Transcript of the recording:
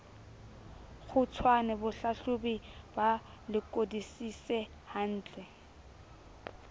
kgutshwane bahlahlobi ba lekodisise hantle